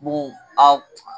Mun a